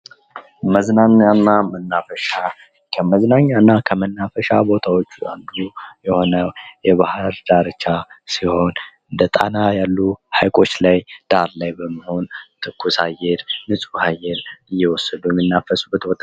መዝናኛ እና መናፈሻ ፦ ከመዝናኛ እና ከመናፈሻ ቦታዎች አንዱ የሆነው የባህር ዳርቻ ሲሆን እንደ ጣና ያሉ ሐይቆች ላይ ዳር ላይ በመሆን ትኩስ አየር ፣ ንጽህ አየር እየወሰደን የሚንናፈስበት